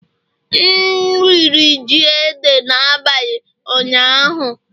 M riri ji Ede n'abalị ụnyaahụ